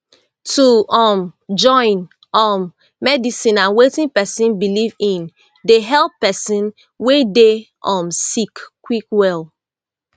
to um join um medicine and wetin pesin believe in dey help pesin wey dey um sick quick well